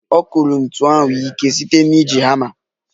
Ọ kụrụ ntu ahụ ike site na iji hama